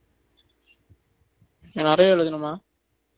நிறைய எழுதணுமா